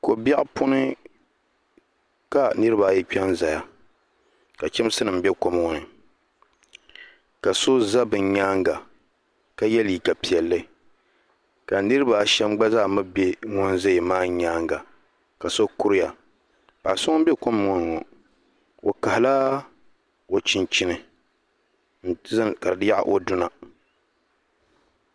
Ko biɛɣu puuni ka niriba ayi kpɛ n ziya ka chɛmsi nima bɛ kom ŋɔ ni ka so za bi yɛanga ka ye liiga piɛlli ka niriba a shɛm mi gba zaa mi bɛ ŋuni zaya maa yɛanga ka so kuriya paɣa so ŋuni bɛ kom ŋɔ ni ŋɔ o kahi la o chinchini ka di yaɣi o duna.